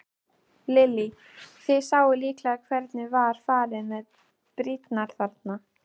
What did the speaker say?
Lillý: Þið sáuð líklega hvernig var farið með brýrnar þarna?